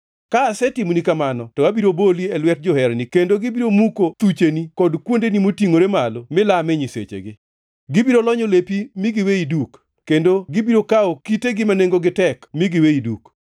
Ka asetimoni kamano to abiro boli e lwet joherani kendo gibiro muko thucheni kod kuondeni motingʼore gi malo milame nyisechegi. Gibiro lonyo lepi mi giweyi duk, kendo gibiro kawo kitegi ma nengogi tek mi giweyi duk.